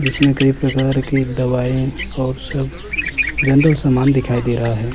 जिसमें कई प्रकार की दवाई और सब जेनरल समान दिखाई दे रहा है।